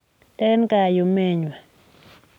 eng kayumengwa.